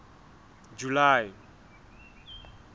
july